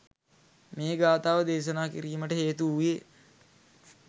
මේ ගාථාව දේශනා කිරීමට හේතු වූයේ